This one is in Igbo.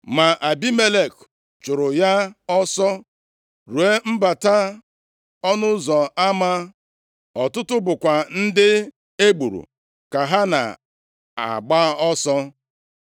Ma Abimelek chụụrụ ya ọsọ ruo mbata ọnụ ụzọ ama, ọtụtụ bụkwa ndị egburu ka ha na-agba ọsọ.